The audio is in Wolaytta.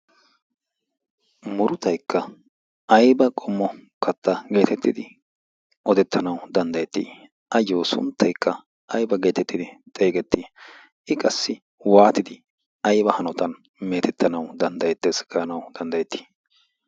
Muruttaykka ayba qommo katta geetetidi odetanawu danddayet? Ayo sunttaykka ayba geetetettidi xeegetane? I qassi waanidi ayba hanotan meetetanwu danddayetees gaanawu danddayeti?